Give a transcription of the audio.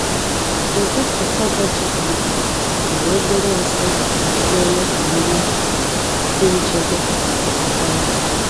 Ụdị cassava GMO nwere obere nsị na-eme ka nri dị nchebe ma belata ọrịa.